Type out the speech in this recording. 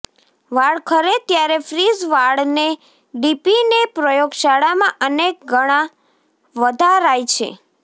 વાળ ખરે ત્યારે ફ્રીઝ વાળને ડીપીને પ્રયોગશાળામાં અનેક ગણા વધારાય છે